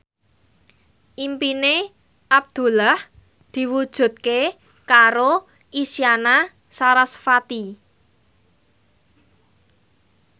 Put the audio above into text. impine Abdullah diwujudke karo Isyana Sarasvati